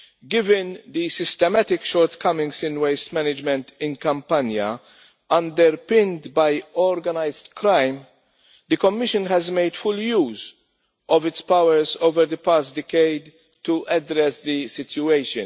Given the systematic shortcomings in waste management in Campania underpinned by organised crime, the Commission has made full use of its powers over the past decade to address the situation.